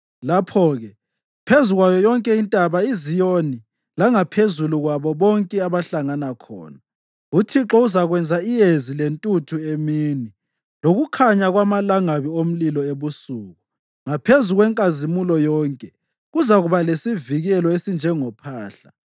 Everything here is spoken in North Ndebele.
Lapho-ke, phezu kwayo yonke iNtaba iZiyoni langaphezulu kwabo bonke abahlangana khona, uThixo uzakwenza iyezi lentuthu emini, lokukhanya kwamalangabi omlilo ebusuku; ngaphezu kwenkazimulo yonke kuzakuba lesivikelo esinjengophahla.